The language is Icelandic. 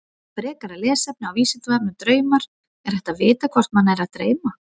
Frekara lesefni á Vísindavefnum Draumar Er hægt að vita hvort mann er að dreyma?